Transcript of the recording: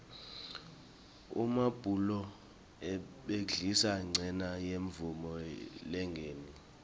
emabhuloho abhidlikile ngenca yemvula lenengi